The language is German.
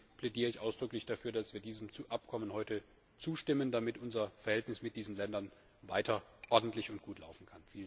Deswegen plädiere ich ausdrücklich dafür, dass wir diesem Abkommen heute zustimmen, damit unsere Beziehungen zu diesen Ländern weiter ordentlich sind und gut laufen.